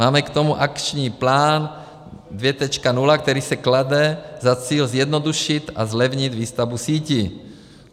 Máme k tomu Akční plán 2.0, který si klade za cíl zjednodušit a zlevnit výstavbu sítí.